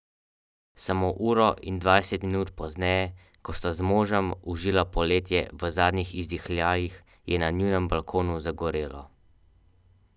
Samo uro in dvajset minut pozneje, ko sta z možem užila poletje v zadnjih izdihljajih, je na njunem balkonu zagorelo.